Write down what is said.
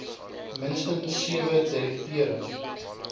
minstens sewe direkteure